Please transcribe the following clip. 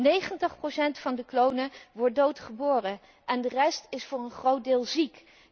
90 van de klonen wordt dood geboren en de rest is voor een groot deel ziek.